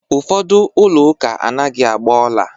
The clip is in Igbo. Ụfọdụ ụlọ ụka anaghị agba ọla